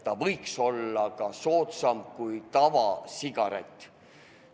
See võiks olla ka soodsam kui tavasigaret.